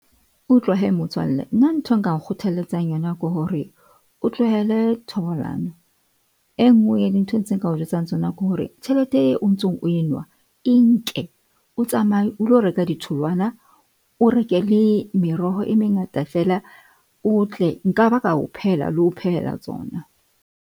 Utlwa hee motswalle nna nthwe nka kgothalletsang yona ke hore o tlohele thobalano. E nngwe ya dintho tse nka o jwetsang tsona ke hore tjhelete eo o ntsong o enwa. E nke o tsamaye o lo reka ditholwana. O reke le meroho e mengata fela o tle, nkaba ka o phehela le ho phehela tsona.